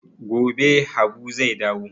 Gobe habu zai dawo